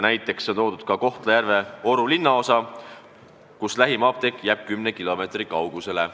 Näiteks on toodud Kohtla-Järve Oru linnaosa, kus lähim apteek jääb kümne kilomeetri kaugusele.